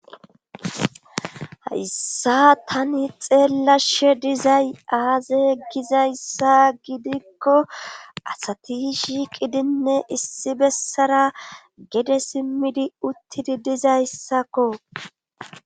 hayssa tani xeellashe dizay aaze gizayssa gidikko asati shiiqidinne issi bessara gede simmidi uttidi dizayssakko